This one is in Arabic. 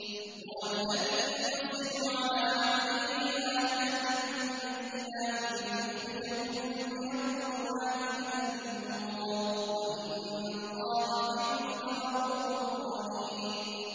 هُوَ الَّذِي يُنَزِّلُ عَلَىٰ عَبْدِهِ آيَاتٍ بَيِّنَاتٍ لِّيُخْرِجَكُم مِّنَ الظُّلُمَاتِ إِلَى النُّورِ ۚ وَإِنَّ اللَّهَ بِكُمْ لَرَءُوفٌ رَّحِيمٌ